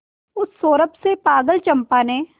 उस सौरभ से पागल चंपा ने